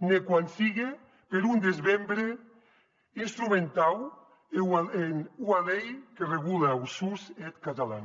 ne quan sigue per un desbrembe instrumentau en ua lei que regule er us deth catalan